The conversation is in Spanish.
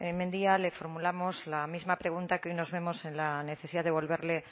mendia le formulamos la misma pregunta que hoy nos vemos en la necesidad de volverle